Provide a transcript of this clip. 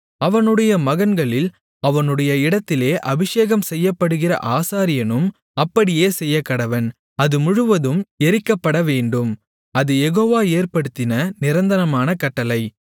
அவனுடைய மகன்களில் அவனுடைய இடத்திலே அபிஷேகம்செய்யப்படுகிற ஆசாரியனும் அப்படியே செய்யக்கடவன் அது முழுவதும் எரிக்கப்படவேண்டும் அது யெகோவா ஏற்படுத்தின நிரந்தரமான கட்டளை